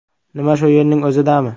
Nima, shu yerning o‘zidami?